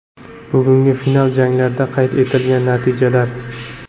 Bugungi final janglarda qayd etilgan natijalar: !